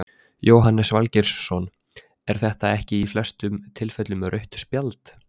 Jóhannes Valgeirsson er þetta ekki í flestum tilfellum rautt spjald?